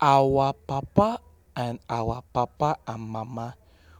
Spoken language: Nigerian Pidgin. our papa and our papa and mama